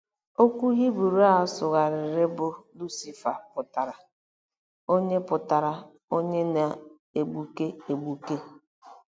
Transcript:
Okwu Hibru a sụgharịrị bụ “ Lucifa” pụtara “onye pụtara “onye na-egbuke egbuke.”